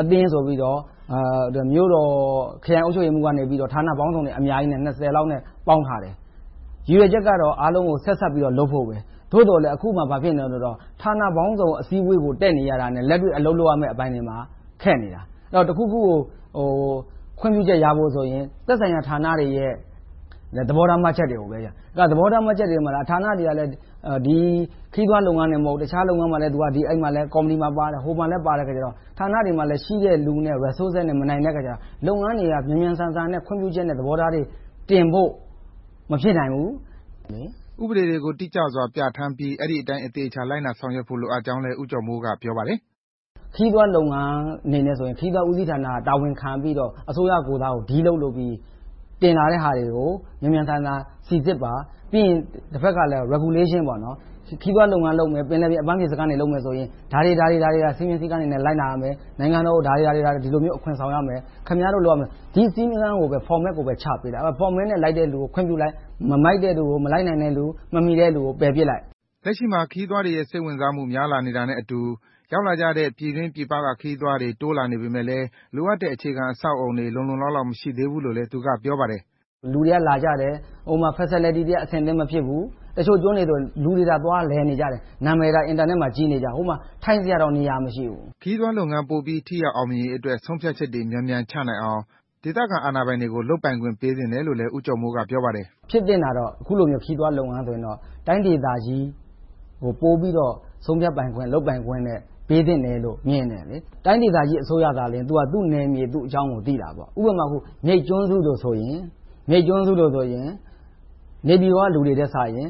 အသင်းဆိုပြီးတော့ မြို့တော်ခရိုင်အုပ်ချုပ်ရေးမှူးက ဌာနပေါင်းစုံအများကြီး လောက်နဲ့ ပေါင်းထားတယ်။ ရည်ရွယ်ချက်ကတော့ အားလုံးကို ဆက်စပ်ပြီးတော့ လုပ်ဖို့ပဲ၊ သို့သော် အခုက ဘာဖြစ်နေလဲဆိုတော့ ဌာနပေါင်းစုံ အစည်းအဝေးကို တက်နေရတာနဲ့ လက်တွေ့လုပ်ရမယ့်အပိုင်းတွေမှာ ခက်နေတယ်။ တခုခုကို ခွင့်ပြုချက်ရဖို့ဆိုရင် သက်ဆိုင်ရာဌာနတွေရဲ့ သဘောထားမှတ်ချက်တွေကို စောင့်ရတယ်။ သဘောထားမှတ်ချက်တွေပေးတဲ့ ဌာနတွေက ခရီးသွားလုပ်ငန်းဌာနတင်မကဘူး တခြားလုပ်ငန်းမှာလည်း ဟိုကော်မတီ ဒီကော်မတီပါတော့ ဌာနတွေမှာ ရှိတဲ့လူနဲ့ Resources နဲ့ မနိုင်တဲ့အခါကြတော့ လုပ်ငန်းတွေက မြန်မြန်ဆန်ဆန်နဲ့ ခွင့်ပြုချက်နဲ့ သဘောထားတွေတင်ဖို့ မဖြစ်နိုင်ဘူး။ ကိုဇော်ဝင်းလှိုင် ။ ။ ဥပေဒတွေကို တိတိကျကျ ပြဌာန်းပြီး အဲဒီအတိုင်း သေချာလိုက်နာဆောင်ရွက်ဖို့လည်း ဦးကျော်မိုးက ပြောပါတယ်။ ဦးကျော်မိုး ။ ။ ခရီးသွားလုပ်ငန်းအနေနဲ့ဆိုရင် ခရီးသွားဦးစီးဌာနက တာဝန်ယူပြီးတော့ အစိုးရကိုယ်စား Deal လုပ်ပြီး တင်လာတဲ့ဟာတွေကို မြန်မြန်ဆန်ဆန် Regulations - ခရီးသွားလုပ်ငန်းလုပ်မယ်ဆိုရင် ဒါတွေက စည်းကမ်းဥပဒေနဲ့ လိုက်နာရမယ်။ နိုင်ငံတော်ကို ဒီလောက် အခွန်ဆောင်ရမယ်။ ဒီလိုစည်းကမ်းတွေကိုပဲ Format ကို ချပေးလိုက်။ Format လိုက်တဲ့လူကိုပဲ ချပေးလိုက်။ မလိုက်နာတဲ့လူ၊ မမီတဲ့လူကို ပယ်ပြစ်လိုက်။ ကိုဇော်ဝင်းလှိုင် ။ ။ လက်ရှိမှာ ခရီးသွားတွေရဲ့ စိတ်ဝင်စားမှု များလာတာနဲ့အတူ ရောက်လာကြတဲ့ ပြည်တွင်းပြည်ပက ခရီးသွားတွေ တိုးလာပေမယ့်လည်း လိုအပ်တဲ့ အခြေခံအဆောက်အအုံတွေ လုံလုံလောက်လောက် မရှိသေးဘူးလို့လည်း သူက ပြောပါတယ်။ ကိုကျော်မိုး ။ ။ လူတွေ လာကြတယ်။ ဟိုမှာ Facilities တွေက အဆင်သင့် မဖြစ်သေးဘူး။ တချို့ကျွန်းတွေဆိုရင် လူတွေသာ သွားလည်နေကြတာ နာမည်သာ Internet မှာ ကြီးနေတာ ဟိုမှာ ထိုင်စရာတောင်နေရာ မရှိဘူး။ ကိုဇော်ဝင်းလှိုင် ။ ။ ခရီးသွားလုပ်ငန်းပိုပြီးအောင်မြင်ရေးအတွက် ဆုံးဖြတ်ချက်တွေ မြန်မြန်ချနိုင်အောင် ဒေသခံအာဏာပိုင်တွေကို လုပ်ပိုင်ခွင့်ပေးသင့်တယ်လို့ ဦးကျော်မိုးက ပြောပါတယ်။ ဦးကျော်မိုး ။ ။ ဖြစ်သင့်တာက အခုလိုမျိုး ခရီးသွားလုပ်ငန်းဆိုရင်တော့ တိုင်းဒေသကြီးကို ပိုပြီးတော့ ဆုံးဖြတ်ပိုင်ခွင့်၊ လုပ်ပိုင်ခွင့်တွေ ပေးသင့်တယ်လို့ မြင်တယ်။ တိုင်းဒေသကြီးအစိုးရကလည်း သူ့နယ်မြေ သူ့ဒေသအကြောင်းကို ပိုသိတယ်။ ဥပမာ မြိတ်ကျွန်းစုတွေဆိုရင် နေပြည်တော်က လူတွေထက်စာရင်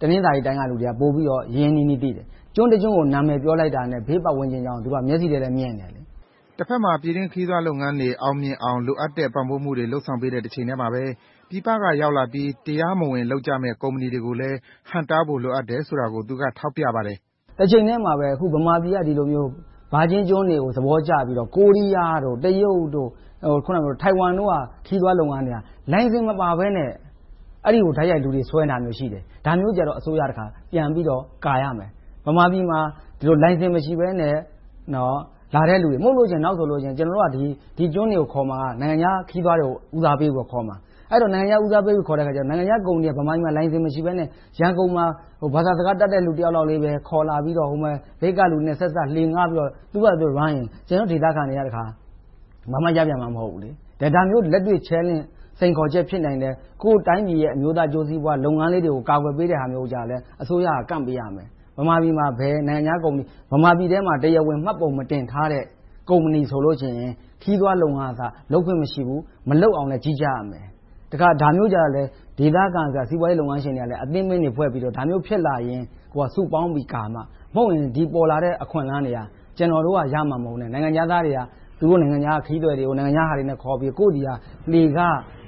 တနင်္သာရီတိုင်းက လူတွေကပိုပြီးတော့ ရင်းရင်းနှီးနှီး ပိုသိတယ်။ ကျွန်းတကျွန်းကို နာမည်ပြောလိုက်တာနဲ့ ဘေးပတ်ဝန်းကျင်အကြောင်းကို သူတို့က မြင်တယ်။ ကိုဇော်ဝင်းလှိုင် ။ ။ တဘက်မှာ ပြည်တွင်းခရီးသွားလုပ်ငန်းတွေ အောင်မြင်အောင် လိုအပ်တဲ့ ပံ့ပိုးမှုတွေ လုပ်ဆောင်ပေးနေတဲ့ တချိန်တည်းမှာပဲ ပြည်ပကရောက်လာပြီး တရားမဝင်လုပ်ကြမယ့် ကုမ္ပဏီတွေကိုလည်း ဟန့်တားဖို့ လိုအပ်တယ်ဆိုတာကိုလည်း သူကထောက်ပြပါတယ်။ ကိုကျော်မိုး ။ ။တချိန်တည်းမှာပဲ မြန်မာပြည်က ဒီလိုမျိုး ဒီ Virgin ကျွန်းတွေကို သဘောကျပြီးတော့ ကိုရီးယား၊ တရုတ်၊ ထိုင်ဝမ်တို့က ခရီးသွားလုပ်ငန်းတွေက လိုင်စင်မပါဘဲနဲ့ အဲဒီကို တိုက်ရိုက်ခရီးဆွဲနေတာတွေ ရှိတယ်။ ဒါမျိုးဆိုရင် အစိုးရက ကာကွယ်ရမယ်။ မြန်မာပြည်မှာ လိုင်စင်မရှိဘဲနဲ့ လာတဲ့လူတွေကို မတားဘူးဆိုရင် နောင်ဆို ကျနော်တို့က ဒီကျွန်းတွေကို ခေါ်မှာက နိုင်ငံခြားခရီးသွားတွေကို ဦးစားပေးပြီးတော့ ခေါ်မှာ။ အဲဒီလို နိုင်ငံခြားသားတွေခေါ်တဲ့အခါ နိုင်ငံခြားကုမ္ပဏီတွေက လိုင်စင်မရှိဘဲနဲ့ ရန်ကုန်မှာ ဘာသာစကားတတ်တဲ့ လူတယောက်လောက်ပဲ ခေါ်လာပြီးတော့ မြိတ်ကလူနဲ့ ဆက်စပ်ပြီး သူတို့ဘာသာလုပ်ရင် ဒေသခံတွေက ဘာမှရမှာ မဟုတ်ဘူး။ ဒါမျိုးလက်တွေ့ စိန်ခေါ်ချက် ဖြစ်နိုင်တယ်။ ကိုယ့်တိုင်းပြည်ရဲ့ အမျိုးသားအကျိုးစီးပွားလုပ်ငန်းလေးတွေကို ကာကွယ်ပေးတာမျိုးကို အစိုးရက ကန့်ပေးရမယ်။ မြန်မာပြည်မှာ ဘယ်နိုင်ငံခြားကုမ္ပဏီ တရားဝင်မှတ်ပုံမတင်ထားတဲ့ ကုမ္ပဏီတွေဆိုရင် ခရီးသွားလုပ်ငန်း လုပ်ခွင့်မရှိဘူး။ မလုပ်အောင်လည်း ကြီးကြပ်ရမယ်။ ဒါမျိုးကြတော့လည်း ဒေသခံစီးပွားရေးလုပ်ငန်းရှင်တွေကလည်း အသင်းတွေဖွဲ့ပြီးတော့ ဒါမျိုးဖြစ်လာရင် စုပေါင်းပြီးကာမှ၊ မဟုတ်ရင် ပေါ်လာတဲ့ အခွင့်အလမ်းတွေဟာ ကျနော်တို့ရမှာမဟုတ်ဘဲ၊ နိုင်ငံခြားသားတွေက သူတို့နိုင်ငံက ခရီးသည်တွေကို သူတို့ကုမ္ပဏီတွေနဲ့ ခေါ်ပြီးတော့ ကိုယ့်ဆီ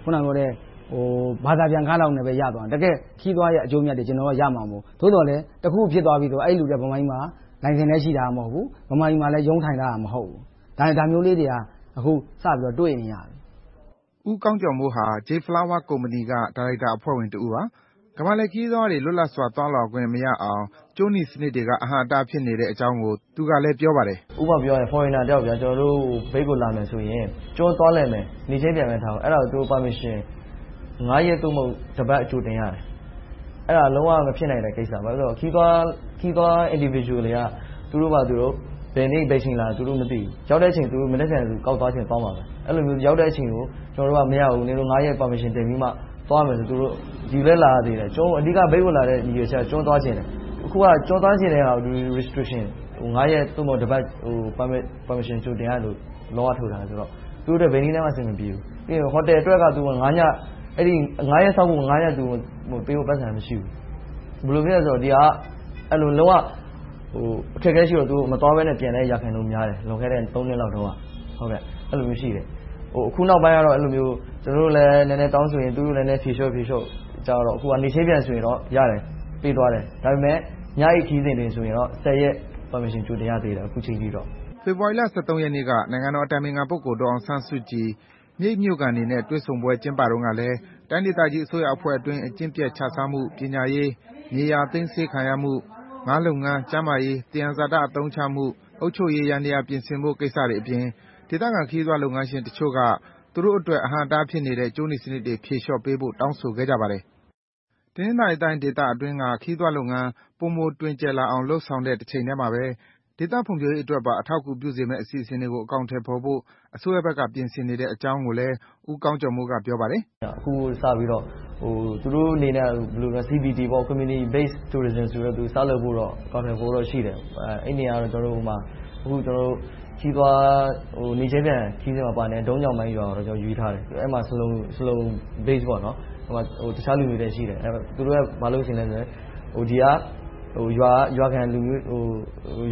က လှေခ၊ ဘာသာပြန်ခလောက်နဲ့ ရသွားတယ်။ တကယ့်ခရီးသွားရဲ့ အကျိုးအမြတ်တွေက ကျနော်တို့က ရမှာမဟုတ်ဘူး။ သို့သော်လဲ တခုခုဖြစ်သွားပြီဆိုရင် အဲဒီလူတွေက မြန်မာပြည်မှာ လိုင်စင်လည်းရှိတာ မဟုတ်ဘူး။ မြန်မာပြည်မှာလည်း ရုံးထိုင်ထားတာ မဟုတ်ဘူး။ ဒါမျိုးလေးတွေကို အခုစပြီး တွေ့နေရပြီ။ ကိုဇော်ဝင်းလှိုင် ။ ။ ဦးကောင်းကျော်မိုးဟာ J Flower Company က ဒါရိုက်တာအဖွဲ့ဝင်တဦးပါ။ ကမ္ဘာလှည့်ခရီးသွားတွေ လွတ်လပ်စွာ သွားလာခွင့်မရအောင် ကြိုးနီစနစ်တွေက အဟန့်အတား ဖြစ်နေတဲ့အကြောင်းကို သူကလည်း ပြောပါတယ်။ ကိုကောင်းကျော်မိုး။ ။ ဥပမာ Foreigner တယောက် ကျနော်တို့မြိတ်ကို လာမယ်ဆိုရင် ကျွန်းသွားလည်မယ် - နေ့ချင်းပြန်ဆိုပါတော့ - အဲဒါကို Permission ရက် သို့မဟုတ် တစ်ပတ် ကြိုတင်ရတယ်။ အဲဒါ လုံးဝမဖြစ်နိုင်တဲ့ကိစ္စ။ ခရီးသွား Individual တွေက သူတို့ဘာသာသူတို့ ဘယ်နေ့ဘယ်အချိန် လာမယ်ဆိုတာ သူတို့ မသိဘူး။ ရောက်တဲ့အချိန် သူတို့ ကောက်သွားချင် သွားမှာပဲ။ အဲဒီလို ရောက်တဲ့အချိန်ကို နင်တို့မရဘူး။ ရက် ပတ်ဝန်းကျင် တင်ပြီးမှ သွားရမယ်ဆိုရင်တော့ ဒီကိုလာပြီးတော့ - အဓိက ဒီကိုလာရတဲ့အကြောင်းရင်းက ကျွန်းသွားချင်တယ်။ အခုက ကျွန်းသွားချင်တဲ့ဟာကို Restriction ရက် သို့မဟုတ် တစ်ပတ် Permission ကြိုတင်ရတဲ့ ဥပဒေက ထုတ်ထားတယ်။ အဲဒါ ဘယ်နည်းနဲ့မှ အဆင်မပြေဘူး။ ဟိုတယ်အတွက် ရက်စောင့်ဖို့ သူမှာ ပိုက်ဆံမရှိဘူး။ ဘယ်လိုဖြစ်သလဲဆိုတော့ ဒါက လုံးဝအခက်အခဲရှိတော့ မသွားဘဲ ပြန်တဲ့ ရာခိုင်နှုန်းများတယ်။ လွန်ခဲ့တဲ့ နှစ်လောက်တုန်းက အဲဒီလိုရှိတယ်။ အခုနောက်ပိုင်းတော့ ကျနော်တို့လည်း နည်းနည်းတောင်းဆိုရင်၊ သူတို့လည်း ဖြေလျှော့နဲ့ ကြာလာတော့ အခုက နေ့ချင်းပြန်ဆိုရင်တော့ရတယ်။ ပေးသွားတယ်။ ဒါပေမဲ့ ညအိပ်ခရီးစဉ်တွေဆိုရင်တော့ ရက် ကြိုတင် Permission တောင်းရတယ်။ ကိုဇော်ဝင်းလှိုင် ။ ။ ဖေဖေါ်ဝါရီလ ရက်နေ့က နိုင်ငံတော်အတိုင်ပင်ခံ ပုဂ္ဂိုလ် ဒေါ်အောင်ဆန်းစုကြည် မြိတ်မြို့ခံတွေနဲ့ တွေ့ဆုံစဉ်တုန်းကလည်း တိုင်းဒေသကြီးအစိုးရအဖွဲ့အတွင်း အကျင့်ပျက်ခြစားမှု၊ ပညာရေး၊ မြေယာသိမ်းဆည်းခံရမှု၊ ငါးလုပ်ငန်း၊ ကျန်းမာရေး၊ သယံဇာတ အသုံးချမှု၊ အုပ်ချုပ်ရေးယန္တယား ပြင်ဆင်ဖို့ကိစ္စတွေအပြင် ဒေသခံခရီးသွားလုပ်ငန်းရှင်တချို့က သူတို့အတွက် အဟန့်အတားဖြစ်နေတဲ့ ကြိုးနီစနစ်တွေ ဖြေလျှော့ပေးဖို့ တောင်းဆိုခဲ့ကြပါတယ်။ တနင်္သာရီတိုင်းဒေသအတွင်းက ခရီးသွားလုပ်ငန်း ပိုမိုတွင်ကျယ်လာအောင် လုပ်ဆောင်နေတဲ့ တချိန်တည်းမှာပဲ ဒေသဖွံ့ဖြိုးရေးအတွက်ပါ အထောက်အကူဖြစ်စေမယ့် အစီအစဉ်တွေကို အကောင်အထည်ဖော်ဖို့ အစိုးရဘက်က ပြင်ဆင်နေတဲ့အကြောင်းကိုလည်း ဦးကောင်းကျော်မိုး က ပြောပါတယ်။ ကိုကောင်းကျော်မိုး ။ ။ အခုစပြီးတော့ သူတို့အနေနဲ့ Community Based Tourism ဆိုပြီး စလုပ်ဖို့ အစီအစဉ်ရှိတယ်။ အဲဒါကတော့ နေ့ချင်းပြန် ခရီးသွားလာကြတဲ့.. ရွာကို ရွေးထားတယ်။ ဆလုံတွေ နဲ့ တခြားလူမျိုးတွေလည်း ရှိတယ်။ သူတို့က ဘာလုပ်ချင်လဲဆိုရင် ဒီက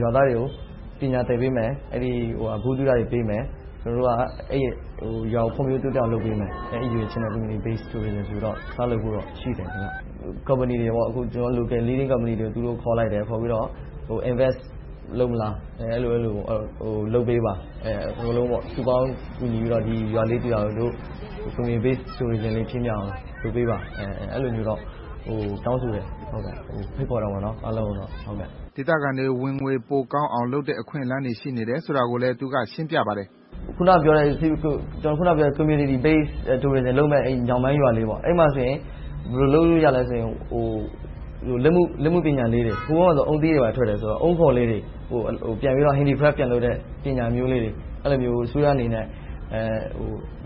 ရွာသားတွေကို ပညာသင်ပေးမယ်။ ဗဟုသုတတွေပေးမယ်။ ကျနော်တို့က အဲဒီရွာကို ဖွံ့ဖြိုးတိုးတက်အောင် လုပ်ပေးမယ်။ အဲဒီရည်ရွယ်ချက်နဲ့ Community Based Tourism ဆိုပြီးတော့ စလုပ်ဖို့တော့ ရှိတယ်။ ကုမ္ပဏီတွေ ကျနော်တို့ Leading local companies တွေကို သူတို့ခေါ်လိုက်ပြီး ရင်းနှီးမြုပ်နံှမှုလုပ်မလား၊ လုပ်ပေးပါ - ရွာလေးတရွာကို Community Based Tourism လေး ဖြစ်အောင် လုပ်ပေးပါဆိုပြီးတော့ တောင်းဆိုတယ်၊ ဖိတ်ခေါ်တယ်။ ကိုဇော်ဝင်းလှိုင် ။ ။ ဒေသခံတွေ ဝင်ငွေပိုကောင်းအောင် လုပ်နိုင်တဲ့ အခွင့်အလမ်းတွေ ရှိနေတယ်ဆိုတာကိုလည်း သူက ရှင်းပြပါတယ်။ ကိုကောင်းကျော်မိုး ။ ။ ကျနော် အခုနပြောတဲ့ Community Based Tourism လုပ်မယ့်… ရွာလေးမှာ ဘယ်လိုလုပ်လို့ရသလဲဆိုရင် လက်မှုပညာလေးတွေ။ ဟိုတုန်းကဆိုရင် အုန်းသီးတွေကို Handy crafts ပြန်လုပ်တဲ့ ပညာမျိုးလေးတွေကို အစိုးရအနေနဲ့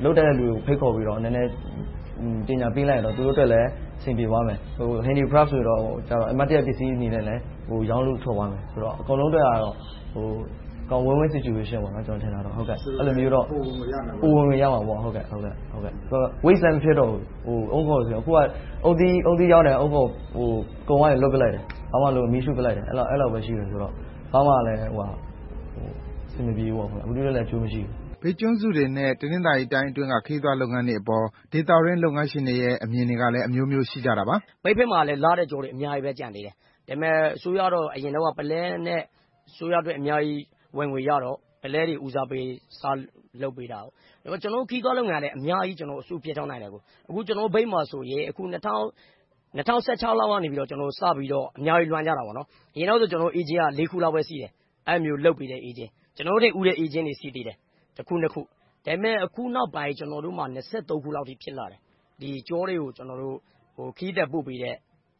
လုပ်တတ်တဲ့လူကို ဖိတ်ခေါ်ပြီးတော့ အစိုးရအနေနဲ့ ပညာပေးလိုက်ရင် သူတို့အနေနဲ့ အဆင်ပြေသွားလိမ့်မယ်။ လက်မှုပညာလေးတွေဆိုတော့ အမှတ်တရပစ္စည်းအနေနဲ့ ရောင်းလို့ထွက်သွားမယ်။ အကုန်လုံးအတွက်တော့ Win-Win Situation ဖြစ်မယ်။ ပိုဝင်ငွေရနိုင်တယ်။ အုန်းခွံတွေလည်း Waste မဖြစ်တော့ဘူး။ အခုက အုန်းသီးရောင်းတယ်။ အုန်းခွံကို လွှင့်ပစ်လိုက်တယ်။ ဘာမှမလုပ် မီးရှို့လိုက်တယ်။ ဘာမှအဆင်မပြေ၊ လူတွေအတွက်လည်း အကျိုးမရှိဘူး။ မေး ။ ။ မြိတ်ကျွန်းစုတွေနဲ့ တနင်္သာရီတိုင်းအတွင်းက ခရီးသွားလုပ်ငန်းတွေအပေါ် ဒေသတွင်းလုပ်ငန်းရှင်တွေရဲ့ အမြင်တွေကလည်း အမျိုးမျိုး ရှိကြတာပါ။ ဒေသခံ ။ ။ မြိတ်နားတဝိုက်မှာ လှတဲ့ကျွန်းတွေ အများကြီးကျန်သေးတယ်။ ဒါပေမဲ့ အစိုးရကတော့ အရင်တုန်းက ပုလဲနဲ့ အစိုးရအတွက် ဝင်ငွေအများကြီးရတော့ အဲဒါကို ဦးစားပေး စလုပ်ပေးတယ်။ ကျနော်တို့ ခရီးသွားလုပ်ငန်းကလည်း အများကြီးလုပ်ပေးနိုင်တယ်။ အခုမြိတ်မှာဆိုရင် ၂၀၁၆ လောက်ကစပြီးတော့ အများကြီးလုပ်လာကြတယ်။ အရင်က Agent က လေးခုလောက်ပဲ ရှိတယ်။ အဲဒီလိုမျိုး လုပ်ပေးတဲ့ Agents. ကျနော်တို့ထက် ဦးတဲ့ Agents တွေ ရှိသေးတယ်။ တစ်ခု၊ နှစ်ခု။ ဒါပေမဲ့ အခုနောက်ပိုင်း ကျနော်တို့မှာ ခုလောက်အထိ ရှိလာတယ်။ ကျွန်းတွေကို ခရီးသည်ပို့ပေးတဲ့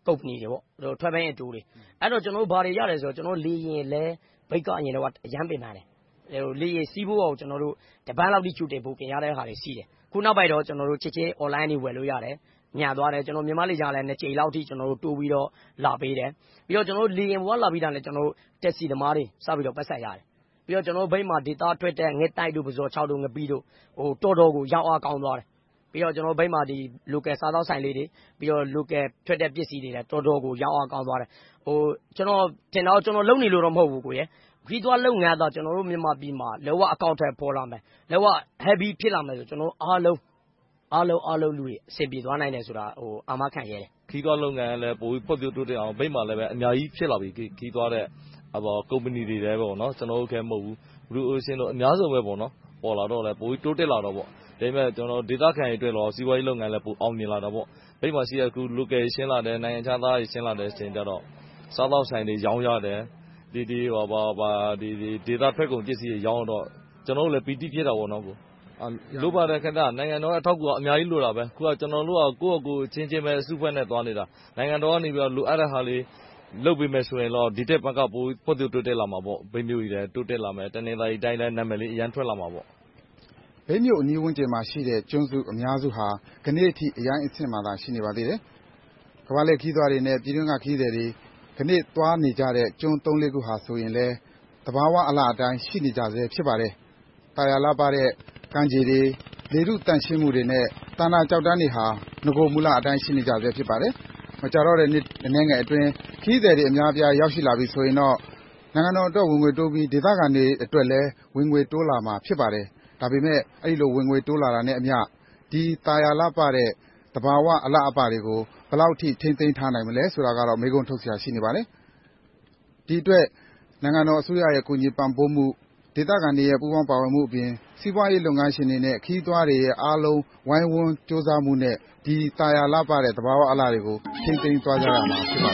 ကုမ္ပဏီတွေ - Travel and Tour တွေ။ အဲဒီက ဘာတွေရသလဲဆိုရင် လေယာဉ်လည်း အရင်တုန်းက ခက်ခဲတယ်။ လေယာဉ်စီးဖို့ကို တစ်ပတ်လောက် ကြိုတင် Booking လုပ်ရတယ်။ အခုနောက်ပိုင်းတော့ ချက်ချင်း Online ကနေ ဝယ်လို့ရတယ်။ မြန်သွားတယ်။ မြန်မာ့လေကြောင်းလိုင်းက နှစ်ကြိမ်လောက် တိုးပြီးတော့ လာပေးတယ်။ လေယာဉ်ပေါ်က လာပြီးတာနဲ့ တက္ကစီသမားတွေ စပြီးတော့ ပိုက်ဆံရတယ်။ နောက် ကျနော်တို့မြိတ်မှာထွက်တဲ့ ငှက်သိုက်တို့၊ ပုဇွန်ခြောက်၊ ငပိတို့ တော်တော်ကို ရောင်းအားကောင်းသွားတယ်။ ပြီးတော့ Local စားသောက်ဆိုင်လေးတွေ၊ Local ပစ္စည်းတွေ တော်တော်ကို ရောင်းအားကောင်းသွားတယ်။ ကျနော်ထင်တာက ကျနော် လုပ်နေလို့မဟုတ်ဘူး ခရီးသွားလုပ်ငန်းသာ ကျနော်တို့ မြန်မာပြည်မှာ လုံးဝအကောင်အထည် ဖော်လာပြီး၊ လုံးဝ Heavy ဖြစ်လာခဲ့ရင် အားလုံးသောလူတွေ အဆင်ပြေသွားနိုင်မယ်ဆိုတာကို အာမခံရဲတယ်။ ခရီးသွားလုပ်ငန်းလည်း ပိုပြီးဖွံ့ဖြိုးတိုးတက်အောင် မြိတ်မှာလည်း အများကြီးဖြစ်လာပြီ။ ကုမ္ပဏီတွေ ကျနော်တင်မဟုတ်ဘူး အများကြီး ပေါ်လာတော့လည်း ပိုပြီးတိုးတက်တာပေါ့။ ဒါ့အပြင် ဒေသခံတွေအတွက်တော့ စီးပွားရေးလုပ်ငန်းလည်း ပိုအောင်မြင်လာတာပေါ့။ မြိတ်မှာရှိတဲ့ Local ဆင်းလာတယ်၊ နိုင်ငံခြားသားတွေ ဆင်းလာတော့ စားသောက်ဆိုင်တွေ ရောင်းရတယ်။ ဒေသထွက်ပစ္စည်းတွေ ရောင်းရတော့ ကျနော်တို့လည်း ပီတိ ဖြစ်တာပေါ့။ နိုင်ငံတော်ရဲ့ အထောက်အကူ အများကြီးလိုပါတယ်။ အခုက ကျနော်တို့က ကိုယ်ဘာသာအချင်းချင်းပဲ အစုအဖွဲ့နဲ့ သွားနေတာ။ နိုင်ငံတော်ကနေ လိုအပ်တဲ့ဟာလေးတွေ လုပ်ပေးမယ်ဆိုရင်တော့ ဒီထက်မက ဖွံ့ဖြိုးတိုးတက်လာမှာပေါ့။ တနင်္သာရီတိုင်းလည်း နာမည်လေး အရမ်းထွက်လာမှာပေါ့။ ကိုဇော်ဝင်းလှိုင် ။ ။ မြိတ်မြို့အနီးဝန်းကျင်မှာရှိတဲ့ ကျွန်းစုအများစုဟာ ဒီနေ့အထိ အရိုင်းအဆင့်မှာပဲ ရှိနေပါသေးတယ်။ ကမ္ဘာလှည့်ခရီးသွားတွေနဲ့ ပြည်တွင်းက ခရီးသည်တွေ ဒီနေ့သွားနေကြတဲ့ ကျွန်းသုံးလေးခု ဆိုတာလည်း သဘာဝအလှအတိုင်း ရှိနေကြဆဲ ဖြစ်ပါတယ်။ သာယာလှပတဲ့ ကမ်းခြေတွေ၊ လေထုသန့်ရှင်းမှုနဲ့ သန္တာကျောက်တန်းတွေဟာ နဂိုမူလအတိုင်း ရှိနေကြဆဲ ဖြစ်ပါတယ်။ မကြာတော့တဲ့ နှစ်အနည်းငယ်အတွင်း ခရီးသည်တွေ အများအပြား ရောက်ရှိလာမယ်ဆိုရင်တော့ နိုင်ငံတော်အတွက် ဝင်ငွေတိုးပြီး၊ ဒေသခံတွေအတွက်လည်း ဝင်ငွေတိုးလာမှာ ဖြစ်ပါတယ်။ ဒါပေမဲ့ အဲဒီလို ဝင်ငွေတိုးလာတာနဲ့အမျှ ဒီသာယာလှပတဲ့ သဘာဝအလှအပတွေကို ဘယ်လောက်အထိ ထိန်းသိမ်းထားနိုင်မလဲဆိုတာကတော့ မေးခွန်းထုတ်စရာ ရှိနေပါတယ်။ ဒီအတွက် နိုင်ငံတော်အစိုးရရဲ့ ကူညီပံ့ပိုးမှု၊ ဒေသခံတွေရဲ့ ပူးပေါင်းပါဝင်မှုအပြင် စီးပွားရေးလုပ်ငန်းရှင်တွေနဲ့ ခရီးသွားတွေရဲ့ အားလုံး ဝိုင်းဝန်းကြိုးစားမှုနဲ့ ဒီသာယာလှပတဲ့ သဘာဝအလှတွေကို ထိန်းသိမ်းသွားကြရမယ် ဖြစ်ပါ